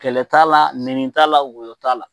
Kɛlɛ t'a la , nɛni t'a la ,woyo t'a la.